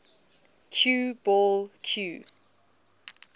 cue ball cue